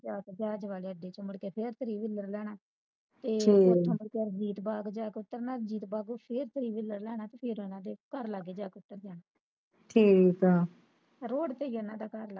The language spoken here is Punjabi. ਚਾਰਦਾਵਲੇ ਆਂਡੇ ਚ ਮੁੜਕੇ ਫਿਰ ਤੁਰੀਕੁਲਰ ਲਹਿਣਾ ਫਿਰ ਰਣਜੀਤ ਬਾਗ ਜਾ ਉਤਰਨਾ ਰਣਜੀਤ ਬਾਗੇ ਫਿਰ ਤੁਰੀਕੁਲਰ ਲੈਣਾ ਤੇ ਫਿਰ ਆਵਾਂਗੇ ਘਰ ਲੱਗ ਜਾ ਕੇ ਉਤਰ ਜਾਣਾ ਰੋਡ ਤੇ ਹੀ ਆ ਉਹਨਾਂ ਦਾ ਘਰ ਲਾਗੇ